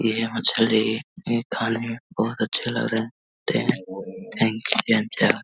ये मछली खाने मे बहुत अच्छे लग रहे है लगते हैं थैंक यू चाचा।